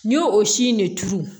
N y'o o si in de turu